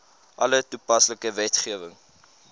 alle toepaslike wetgewing